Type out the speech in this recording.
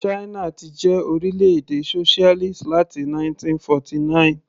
China ti jẹ́ orílẹ̀-èdè socialist láti 1949.